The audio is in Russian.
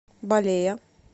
балея